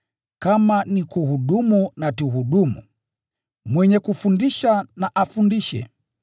Kama ni kuhudumu na tuhudumu, mwenye kufundisha na afundishe,